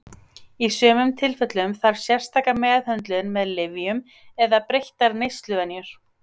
Í sumum tilfellum þarf sérstaka meðhöndlun með lyfjum eða breyttar neysluvenjur.